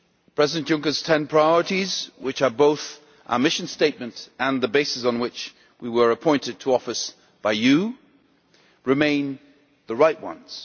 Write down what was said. President Juncker's ten priorities, which are both our mission statement and the basis on which we were appointed to office by you, remain the right ones.